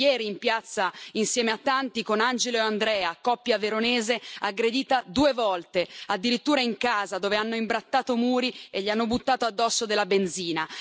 Ero ieri in piazza, insieme a tanti con Angelo e Andrea, coppia veronese aggredita due volte, addirittura in casa dove hanno imbrattato muri e gli hanno buttato addosso della benzina.